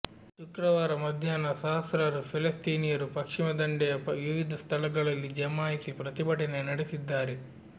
ಶುಕ್ರವಾರ ಮಧ್ಯಾಹ್ನ ಸಹಸ್ರಾರು ಫೆಲೆಸ್ತೀನಿಯರು ಪಶ್ಚಿಮದಂಡೆಯ ವಿವಿಧ ಸ್ಥಳಗಳಲ್ಲಿ ಜಮಾಯಿಸಿ ಪ್ರತಿಭಟನೆ ನಡೆಸಿದ್ದಾರೆ